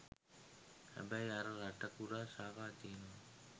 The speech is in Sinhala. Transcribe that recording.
හැබැයි අර රට පුරා ශාඛා තියන